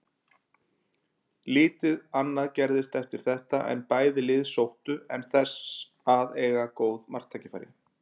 Lítið annað gerðist eftir þetta en bæði lið sóttu en þess að eiga góð marktækifæri.